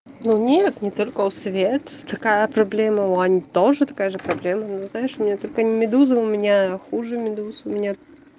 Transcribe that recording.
ну нет не только у свет такая проблема у ани тоже такая же проблема ну знаешь у меня только медузы у меня хуже медуз у меня